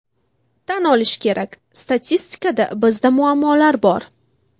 Tan olish kerak, statistikada bizda muammolar bor.